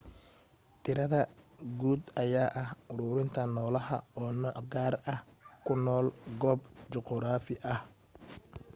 tirada guud ayaa ah uruurinta noolaha oo nooc gaar ah oo ku nool goob juquraafi ah